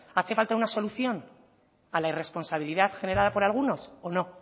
hace falta una solución a la irresponsabilidad generada por algunos o no